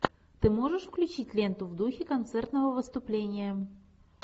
ты можешь включить ленту в духе концертного выступления